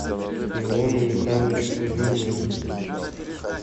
иону михайловичу кузьмину